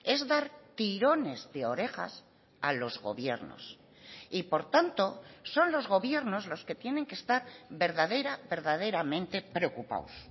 es dar tirones de orejas a los gobiernos y por tanto son los gobiernos los que tienen que estar verdadera verdaderamente preocupados